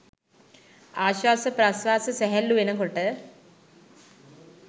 ආශ්වාස ප්‍රශ්වාස සැහැල්ලු වෙන කොට